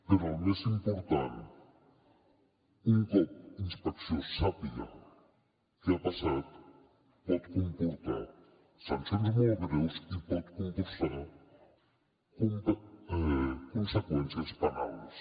però el més important un cop inspecció sàpiga què ha passat pot comportar sancions molt greus i pot comportar conseqüències penals